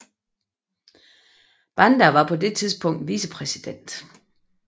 Banda var på det tidspunkt vicepræsident